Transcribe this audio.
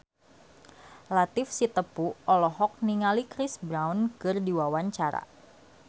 Latief Sitepu olohok ningali Chris Brown keur diwawancara